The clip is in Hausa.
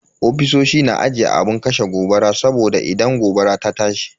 Ofisoshi na aje abun kashe gobara saboda idan gobara ta tashi.